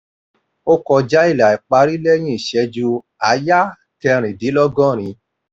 ó kọjá ilà ìparí lẹ́yìn ìṣẹ́jú àáyá kẹrìndínlọ́gọ́rin.